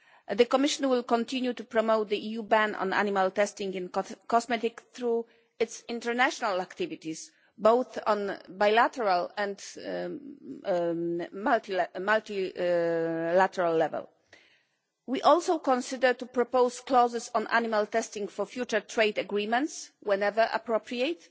The Commission will continue to promote the EU ban on animal testing in cosmetics through its international activities, both at bilateral and multilateral level. We also considered proposing clauses on animal testing for future trade agreements whenever appropriate.